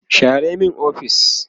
share min ofis!